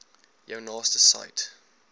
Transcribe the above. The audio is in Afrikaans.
jou naaste said